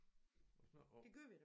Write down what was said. Og snakke om